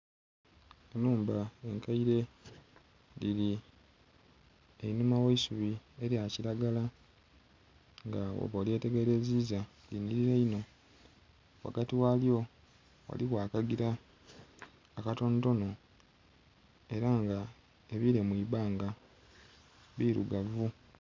Enhumba enkaire dhiri einhuma gh'eisubi elya kilagala nga bwoba olyetegereziza linhilira inho, ghagati ghalyo ghaliwo akagila akatonotono era nga ebile mu ibbanga birugavu